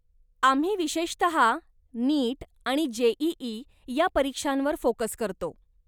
आम्ही विशेषतः नीट आणि जे.ई.ई. या परीक्षांवर फोकस करतो.